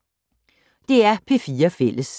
DR P4 Fælles